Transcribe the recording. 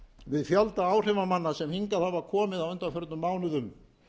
við fjölda áhrifamanna sem hingað hafa komið á undanförnum mánuðum